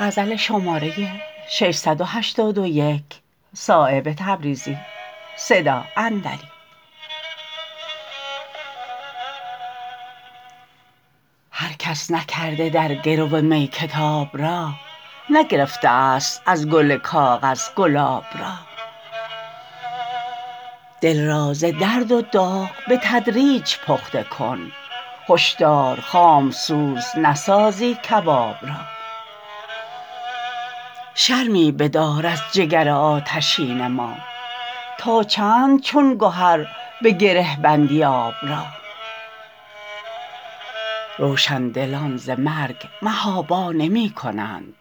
هر کس نکرده در گرو می کتاب را نگرفته است از گل کاغذ گلاب را دل را ز درد و داغ به تدریج پخته کن هشدار خامسوز نسازی کباب را شرمی بدار از جگر آتشین ما تا چند چون گهر به گره بندی آب را روشندلان ز مرگ محابا نمی کنند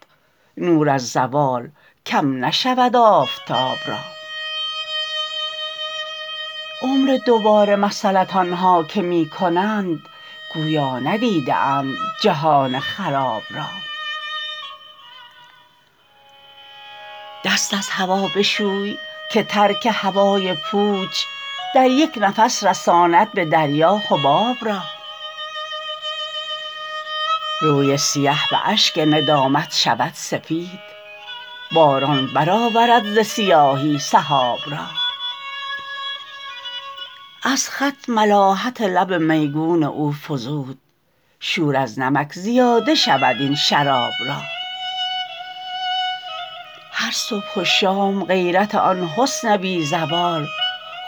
نور از زوال کم نشود آفتاب را عمر دوباره مسیلت آنها که می کنند گویا ندیده اند جهان خراب را دست از هوا بشوی که ترک هوای پوچ در یک نفس رساند به دریا حباب را روی سیه به اشک ندامت شود سفید باران برآورد ز سیاهی سحاب را از خط ملاحت لب میگون او فزود شور از نمک زیاده شود این شراب را هر صبح و شام غیرت آن حسن بی زوال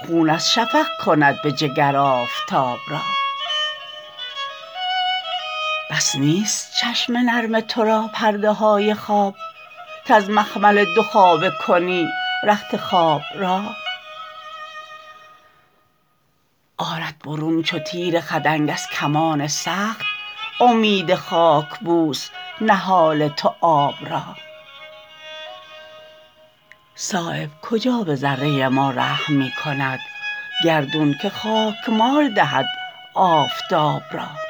خون از شفق کند به جگر آفتاب را بس نیست چشم نرم ترا پرده های خواب کز مخمل دو خوابه کنی رخت خواب را آرد برون چو تیر خدنگ از کمان سخت امید خاکبوس نهال تو آب را صایب کجا به ذره ما رحم می کند گردون که خاکمال دهد آفتاب را